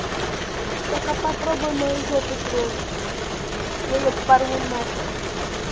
только попробуй мою жопу тронуть я её порву нахер